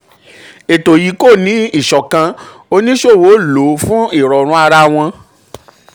ètò yìí kò ní ìṣọ̀kan oníṣòwò ìṣọ̀kan oníṣòwò lò um ó fún ìrọ̀rùn ara wọn.